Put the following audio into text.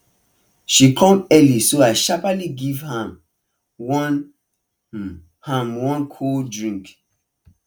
she come early so i sharply give um am one um am one cold drink